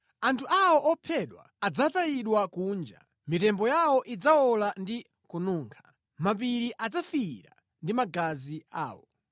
Anthu awo ophedwa adzatayidwa kunja, mitembo yawo idzawola ndi kununkha; mapiri adzafiira ndi magazi awo.